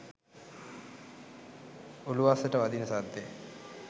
උළුවස්සට වදින සද්දෙ